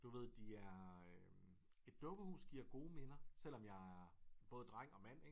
Du ved de er et dukkehus giver gode minder selvom jeg er både dreng og mand ikke